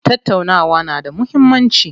Tattaunawa na da muhimmanci.